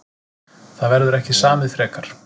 Það verður ekki samið frekar